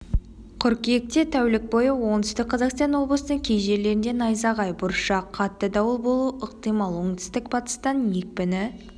қыркүйекте тәулік бойы оңтүстік қазақстан облыстың кей жерлерінде найзағай бұршақ қатты дауыл болуы ықтимал оңтүстік-батыстан екпіні